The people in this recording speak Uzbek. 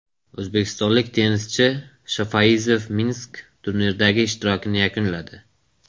O‘zbekistonlik tennischi Shofayziyev Minsk turniridagi ishtirokini yakunladi.